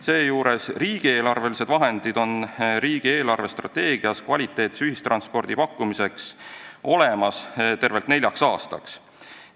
Seejuures on riigieelarvelised vahendid kvaliteetse ühistranspordi pakkumiseks riigi eelarvestrateegias olemas tervelt neljaks aastaks.